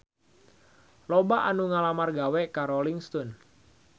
Loba anu ngalamar gawe ka Rolling Stone